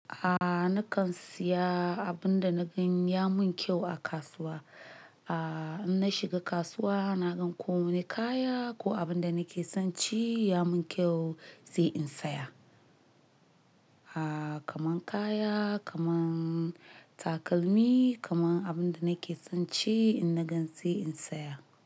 Aaa nakan siya abun da na gan ya mun kyau a kasuwa. Aaa in na shiga kasuwa na gan ko wani kaya ko abun da nake son ci ya mun kyau, sai in saya. Aaa kaman kaya, kaman takalmi, kaman abun da nake son ci in na gan sai in saya.